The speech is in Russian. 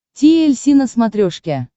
ти эль си на смотрешке